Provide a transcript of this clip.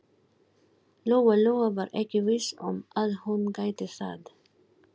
Lóa-Lóa var ekki viss um að hún gæti það.